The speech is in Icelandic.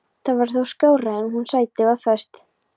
Það var þó skárra en hún sæti þar föst.